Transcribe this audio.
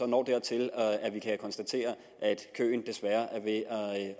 når dertil at vi kan konstatere at køen desværre er ved